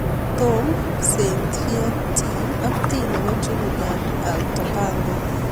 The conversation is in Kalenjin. Tom saintfiet T ak T nepoo Trinidad al Tobango